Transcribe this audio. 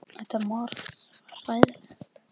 Hún reynir að skilja allt.